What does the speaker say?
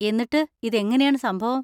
എന്നിട്ട്, ഇതെങ്ങനെയാണ് സംഭവം?